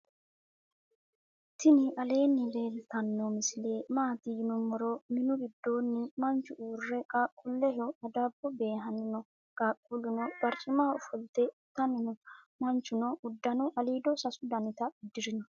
tini alenni leltano misile maati yinumoro minu gidonni manchu uure qaquleho adabo behani noo. qaquluno barichimaho oofolte ittani noo. manchuno udano alido sasu dannita udirino.